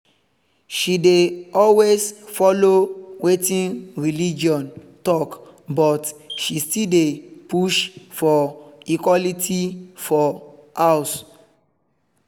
she dey always follow wetin religion talk but she still dey push for equality for house